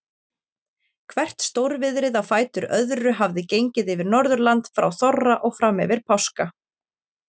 Hvert stórviðrið á fætur öðru hafði gengið yfir Norðurland frá þorra og fram yfir páska.